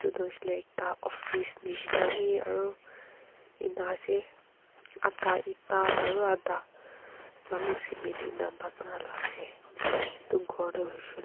etu tu hoishe hoile office nishina wi enaka ase adha eta aro adha balu cement bana la ase.